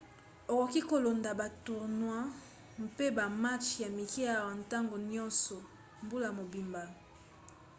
okoki kolanda ba tournois mpe bamatch ya mike awa ntango nyonso mbula mobimba